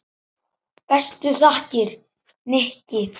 Bestu þakkir, Nikki.